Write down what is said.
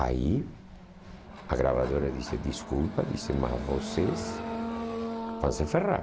Aí, a gravadora disse, desculpa isso, mas vocês vão se ferrar.